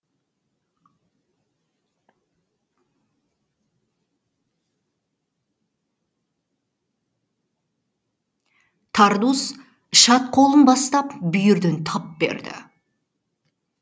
тардус шад қолын бастап бүйірден тап берді